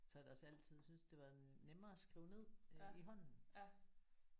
Så har jeg da også altid syntes det var nemmere at skrive ned øh i hånden